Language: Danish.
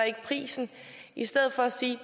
prisen i stedet for at sige